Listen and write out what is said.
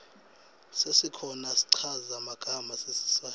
sesikhona schaza magama sesiswati